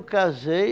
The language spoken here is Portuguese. casei...